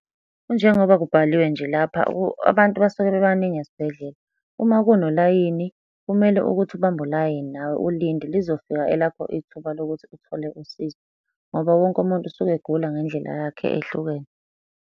Kunjengoba kubhaliwe nje lapha, abantu basuke bebaningi esibhedlela. Uma kunolayini kumele ukuthi ubambe ulayini nawe ulinde lizofika elakho ithuba lokuthi uthole usizo, ngoba wonke umuntu usuke egula ngendlela yakhe ehlukene.